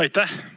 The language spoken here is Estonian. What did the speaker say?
Aitäh!